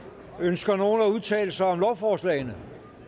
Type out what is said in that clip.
ønsker nogen at udtale sig om lovforslagene